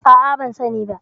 A'a, ban sani ba.